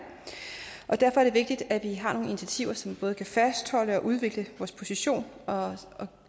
og derfor er det vigtigt at vi har nogle initiativer som både kan fastholde og udvikle vores position og